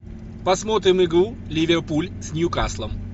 посмотрим игру ливерпуль с ньюкаслом